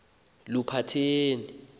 luphatheni